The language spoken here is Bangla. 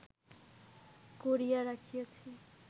করিয়া রাখিয়াছি